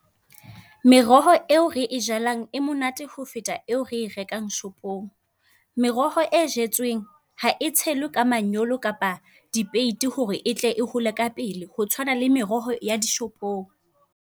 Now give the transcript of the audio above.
Meroho eo re e jalang e monate ho feta eo re e rekang shopong. Meroho e jetsweng ha e tshelwe ka manyolo kapa dipeiti hore etle e hole ka pele. Ho tshwana le meroho ya di shopong.